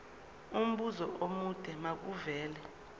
umbuzo omude makuvele